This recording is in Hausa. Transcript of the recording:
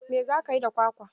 Me za ka yi da kwakwa?